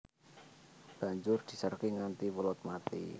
Banjur dijarké nganti welut mati